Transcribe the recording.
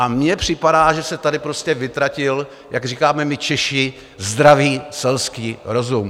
A mně připadá, že se tady vytratil, jak říkáme my Češi, zdravý selský rozum.